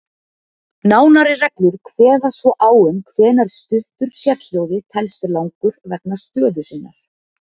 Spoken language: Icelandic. Nánari reglur kveða svo á um hvenær stuttur sérhljóði telst langur vegna stöðu sinnar.